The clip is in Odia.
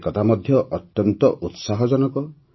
ଏକଥା ମଧ୍ୟ ଅତ୍ୟନ୍ତ ଉତ୍ସାହଜନକ